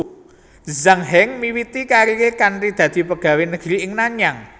Zhang Heng miwiti kariré kanthi dadi pegawé negri ing Nanyang